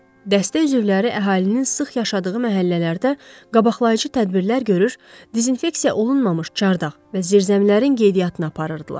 Dəstə üzvləri əhalinin sıx yaşadığı məhəllələrdə qabaqlayıcı tədbirlər görür, dezinfeksiya olunmamış çardaq və zirzəmilərin qeydiyyatını aparırdılar.